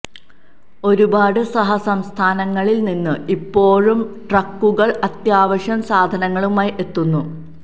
ഒരുപാട് സഹ സംസ്ഥാനങ്ങളില് നിന്ന് ഇപ്പോഴും ട്രക്കുകള് അത്യാവശ്യ സാധനങ്ങളുമായി എത്തുന്നു